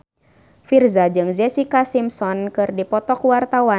Virzha jeung Jessica Simpson keur dipoto ku wartawan